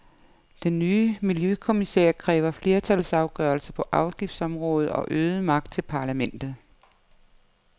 Den nye miljøkommissær kræver flertalsafgørelser på afgiftsområdet og øget magt til parlamentet.